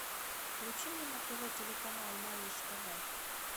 включи мне на тв телеканал малыш тв